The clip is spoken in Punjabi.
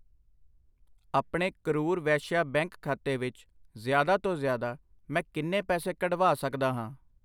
ਆਪਣੇ ਕਰੂਰ ਵੈਸ਼ਿਆ ਬੈਂਕ ਖਾਤੇ ਵਿੱਚ ਜ਼ਿਆਦਾ ਤੋਂ ਜ਼ਿਆਦਾ, ਮੈਂ ਕਿੰਨੇ ਪੈਸੇ ਕੱਢਵਾ ਸਕਦਾ ਹਾਂ ?